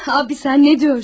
Abi sen ne diyorsun?